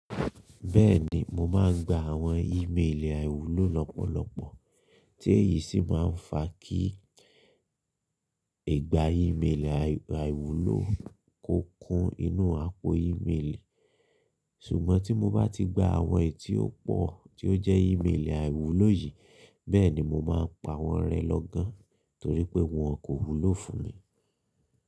Bẹ́ẹ̀ni mo máa ń gba àwọn ímélì àìwúlò lọ́pọ̀lọpọ̀ tí èyí sì máa ń fa kí ìgbà ímélì àìwúlò kọ kún inú àpò ímélì. Ṣùgbọ́n tí mo bá ti gba àwọn è tí ó pò tí ó jẹ́ ímélì àìwúlò yìí, bẹ́ẹ̀ ni mo máa pa wọ́n rẹ lọ́gán torí pé wọn kò wúlò fún mi.